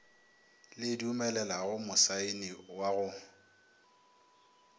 le dumelelago mosaeni wa go